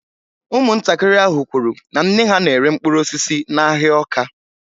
Ụmụntakịrị ahụ kwuru na nne ha na-ere mkpụrụ osisi n’ahịa Awka